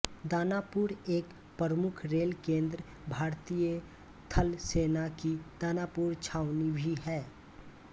दानापुर एक प्रमुख रेल केंद्र भारतीय थलसेना की दानापुर छावनी भी है